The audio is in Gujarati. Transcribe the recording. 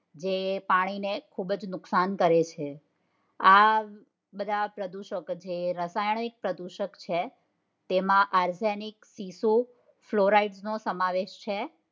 જે પાણી ને ખુબજ નુકસાન કરે છે આ બધા પ્રદૂષકો છે રાસાયણિક પ્રદૂષકો છે જેમાં argenic સીસું fluoride નો સમાવેશ છે